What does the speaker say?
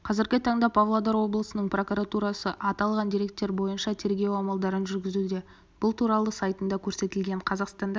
қазіргі таңда павлодар облысының покуратурасы аталған дерек бойынша тергеу амалдарын жүргізуде бұл туралы сайтында көрсетілген қазақстанда